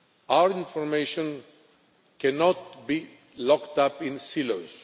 Our information cannot be locked up in silos.